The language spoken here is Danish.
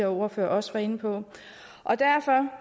ordfører også var inde på og derfor er